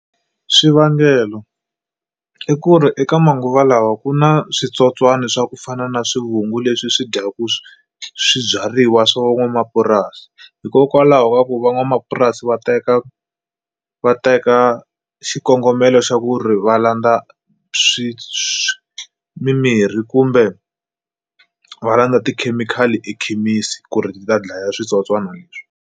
Swivangelo i ku ri eka manguva lawa ku na switsotswani swa ku fana na swivungu leswi swi dyaku swibyariwa swa van'wamapurasi hikokwalaho ka ku van'wamapurasi va teka va teka xikongomelo xa ku ri va landza swi mimirhi kumbe va landza tikhemikhali ekhemisi ku ri ti ta dlaya switsotswana leswi.